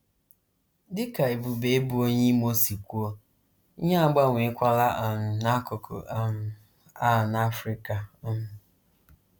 Dị ka Ebube, bụ́ onye Imo si kwuo, ihe agbanweekwala um n’akụkụ um a n’Africa um.